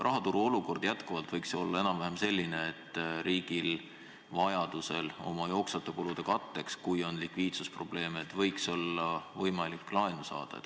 Rahaturu olukord võiks jätkuvalt olla enam-vähem selline, et riigil oleks vajaduse korral jooksvate kulude katteks, kui on likviidsusprobleeme, võimalik laenu saada.